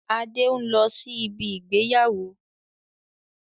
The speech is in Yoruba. Adé n lọ sí ibi ìgbéyàwó